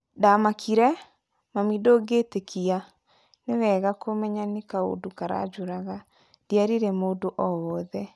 Ndamakire,"Mami ndũngĩtĩkia ..." 'Ni wega kumenya nĩ kaunda karajuraga 'ndierire mundu o wothe